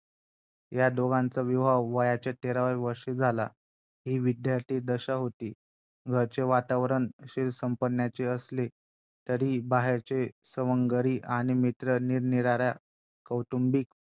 Offices ला जाऊन बाहेर कामधंदा नोकरी व्यवसाय सांभाळणं असो या सगळ्या गोष्टी त्या एकदम उत्तम रित्या साभांळतात .